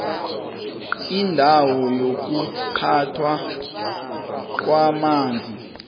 indawo yokuphathwa kwamanzi